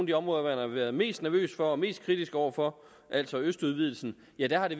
de områder man har været mest nervøs for og mest kritisk over for altså østudvidelsen har det